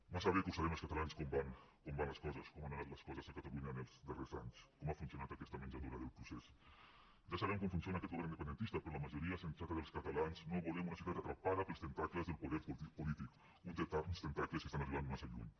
massa bé que ho sabem els catalans com van les coses com han anat les coses a catalunya els darrers anys com ha funcionat aquesta menjadora del procés ja sabem com funciona aquest govern independentista però la majoria sensata dels catalans no volem una societat atrapada pels tentacles del poder polític uns tentacles que estan arribant massa lluny